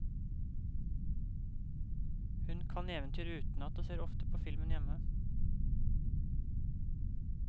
Hun kan eventyret utenat og ser ofte på filmen hjemme.